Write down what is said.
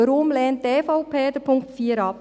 Weshalb lehnt die EVP den Punkt 4 ab?